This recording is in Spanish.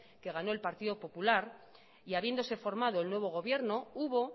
que ganó el partido popular y habiéndose formado el nuevo gobierno hubo